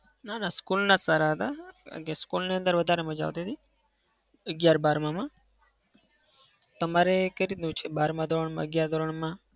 ના ના school ના જ સારા હતા. કારણ કે school ની અંદર વધારે મજા આવતી હતી. અગિયાર બારમાં માં તમારે કઈ રીતનું છે? બારમાં ધોરણમાં અગિયાર ધોરણમાં?